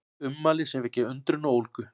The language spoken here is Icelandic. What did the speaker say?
Ummæli sem vekja undrun og ólgu